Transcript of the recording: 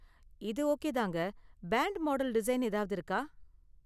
இது ஓகே தாங்க. Pant model design ஏதாவது இருக்கா?